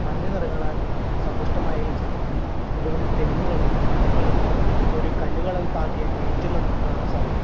മഞ്ഞ നിറങ്ങളാൽ സമ്പുഷ്ടമായ ഈ ചിത്രത്തിൽ നിരവധി തെങ്ങുകളും മരങ്ങളും ഒരു കല്ലുകളാൽ പാകിയ ഗേറ്റും നമുക്ക് കാണാൻ സാധിക്കുന്നു.